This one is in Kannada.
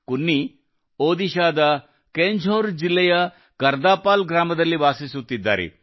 ಕುನ್ನಿ ಒಡಿಶಾದ ಕೆಂದುರ್ ಜಿಲ್ಲೆಯ ಕರ್ದಾಪಾಲ್ ಗ್ರಾಮದಲ್ಲಿ ವಾಸಿಸುತ್ತಿದ್ದಾರೆ